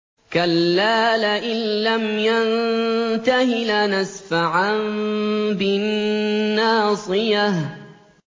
كَلَّا لَئِن لَّمْ يَنتَهِ لَنَسْفَعًا بِالنَّاصِيَةِ